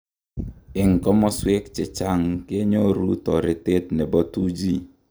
En kososwek chechang ngenyoru toretet nebo 2G.